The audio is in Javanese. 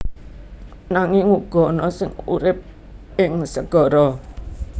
Nanging uga ana sing urip ing segara